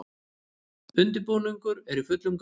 Undirbúningur er í fullum gangi